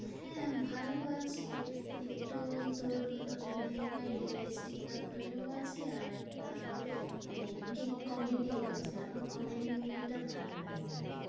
হ্যাঁ ভালো আছে। একটু তোর মানে হয় realistic ব্যাপারেও আছে, আর একটা মানে cake comedy ও আছে। আমার comedy movie টা ভালোলাগে।